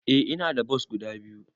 Eh ina da bos guda biyu.